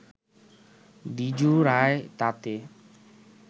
দ্বিজু রায় তাতে